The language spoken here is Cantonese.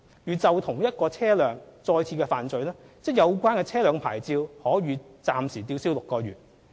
如就同一汽車再犯罪，則有關車輛的牌照可予暫時吊銷6個月。